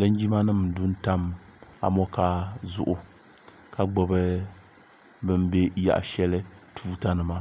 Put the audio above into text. linjima nim ndu n tam amokaa zuɣu ka gbubi bi ni bɛ yaɣa shɛli tuuta nima